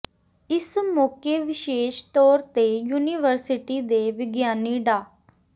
ਇਸ ਮੌਕੇ ਵਿਸ਼ੇਸ਼ ਤੌਰ ਤੇ ਯੂਨੀਵਰਸਿਟੀ ਦੇ ਵਿਗਿਆਨੀ ਡਾ